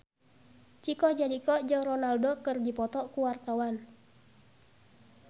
Chico Jericho jeung Ronaldo keur dipoto ku wartawan